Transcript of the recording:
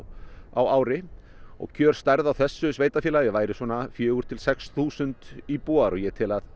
á ári og kjörstærð á þessu sveitarfélagi væri svona fjögur til sex þúsund íbúar og ég tel að